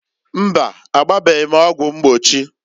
Mbaǃ Agbabeghi m ọgwụ mgbochi.